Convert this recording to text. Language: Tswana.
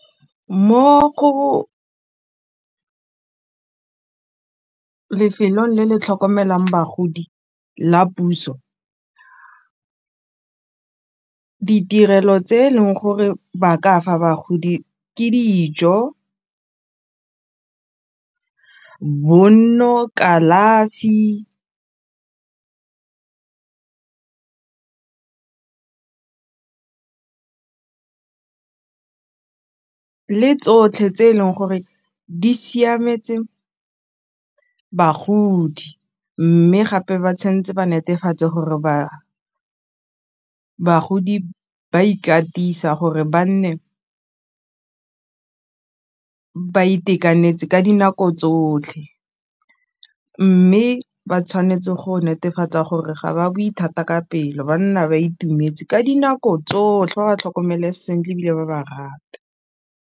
Mo lefelong le le tlhokomelang bagodi la puso ditirelo tse e leng gore ba ka fa bagodi ke dijo, bonno, kalafi tsotlhe tse e leng gore di siametse bagodi mme gape ba tshwanetse ba netefatse gore ba bagodi ba ikatisa gore ba nne ba itekanetse ka dinako tsotlhe mme ba tshwanetse go netefatsa gore ga ba bue thata ka pelo ba nna ba itumetse ka dinako tsotlhe ba ba tlhokomele sentle ebile ba ba rate.